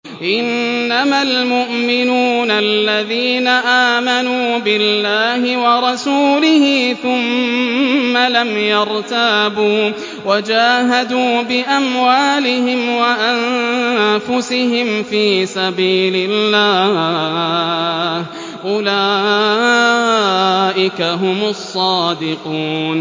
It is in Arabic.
إِنَّمَا الْمُؤْمِنُونَ الَّذِينَ آمَنُوا بِاللَّهِ وَرَسُولِهِ ثُمَّ لَمْ يَرْتَابُوا وَجَاهَدُوا بِأَمْوَالِهِمْ وَأَنفُسِهِمْ فِي سَبِيلِ اللَّهِ ۚ أُولَٰئِكَ هُمُ الصَّادِقُونَ